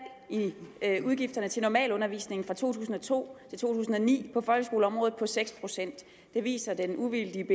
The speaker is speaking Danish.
i i udgifterne til normalundervisning fra to tusind og to til to tusind og ni på folkeskoleområdet på seks procent det viser den uvildige